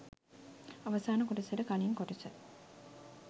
අවසාන කොටසට කලින් කොටස.